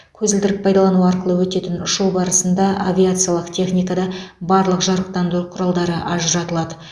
көзілдірік пайдалану арқылы өтетін ұшу барысында авиациялық техникада барлық жарықтандыру құралдары ажыратылады